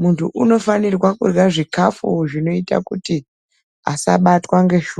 Muntu unofanirwa kurya zvikafu zvinoita kuti asabatwa ngeshuga.